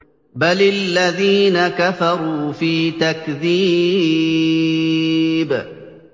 بَلِ الَّذِينَ كَفَرُوا فِي تَكْذِيبٍ